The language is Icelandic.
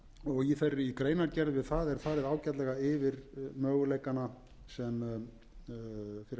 og í greinargerð við það er farið ágætlega yfir möguleikana sem fyrir hendi eru í metanvinnslunni um þá vil ég